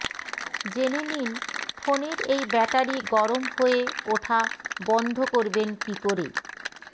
জেনে নিন ফোনের এই ব্যাটারি গরম হয়ে ওঠা বন্ধ করবেন কী করে